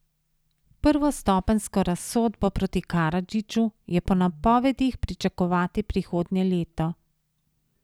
Prvostopenjsko razsodbo proti Karadžiću je po napovedih pričakovati prihodnje leto.